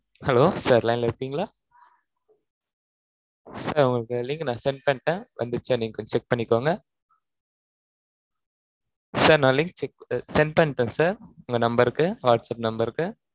hello sir line ல இருக்கீங்களா sir உங்களுக்கு link நான் send பண்ணிட்டேன். வந்துடுச்சா, நீங்க கொஞ்சம் check பண்ணிக்கோங்க. sir நான் link check send பண்ணிட்டேன், sir உங்க number க்கு, whatsapp number க்கு.